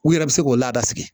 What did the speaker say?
U yɛrɛ bɛ se k'o lada sigi